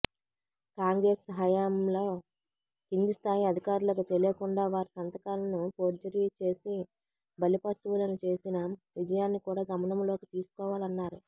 కాంగ్రెస్ హయాంలో కిందిస్థాయి అధికారులకు తెలియకుండా వారి సంతకాలను ఫోర్జరీ చేసి బలిపశువులను చేసిన విషయాన్ని కూడా గమనంలోకి తీసుకోవాలన్నారు